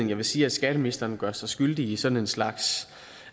jeg vil sige at skatteministeren gør sig skyldig i sådan en slags